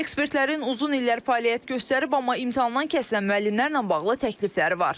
Ekspertlərin uzun illər fəaliyyət göstərib, amma imtahandan kəsilən müəllimlərlə bağlı təklifləri var.